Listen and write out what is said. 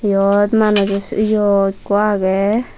iyot manujo iyo ekko agey.